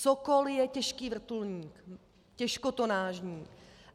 Sokol je těžký vrtulník, těžkotonážní.